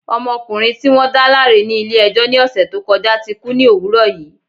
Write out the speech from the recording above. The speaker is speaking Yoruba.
Ọmọkùnrin ti wọ́n dáláre ní Ilé ẹjọ́ ni òsè tó kọjá ti kú ni òwúrọ̀ yi